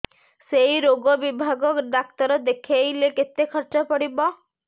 ସେଇ ରୋଗ ବିଭାଗ ଡ଼ାକ୍ତର ଦେଖେଇଲେ କେତେ ଖର୍ଚ୍ଚ ପଡିବ